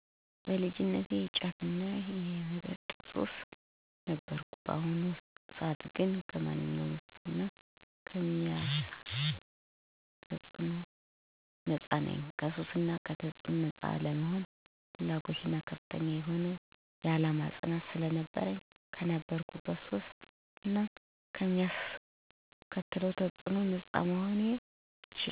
በልጅነቴ የጫትና የመጠጥ ሱሰኛ ነበርኩ። በአሁኑ ሰዓት ግን ከማንኛውም ሱስ እና ከሚያሳደረው ተፅዕኖ ነጻ ነኝ። ከሱስ እና ከተጽዕኖው ነጻ ለመሆን ፍላጎትና ከፍተኛ የሆነ የዓላማ ፅናት ስለነበረኝ ከነበረብኝ ሱስ እና ከሚያስከትለው ተፅዕኖ ነጻ መሆን ችያለው። ዋነው ነገር ፍላጎትና ፅናት ነው።